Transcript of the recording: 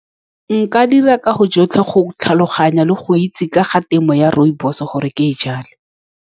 Nka dira ka go bo jotlhe go tlhaloganya le go itse ka ga temo ya rooibos-e, gore ke e jale.